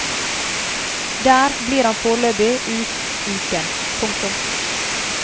Der blir han foreløpig ut uken. punktum